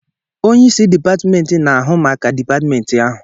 Onye isi dipatmentị na-ahụ maka dipatmentị ahụ.